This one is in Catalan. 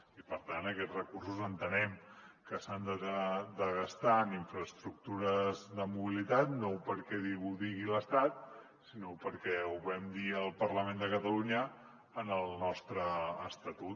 i per tant aquests recursos entenem que s’han de gastar en infraestructures de mobilitat no perquè ho digui l’estat sinó perquè ho vam dir al parlament de catalunya en el nostre estatut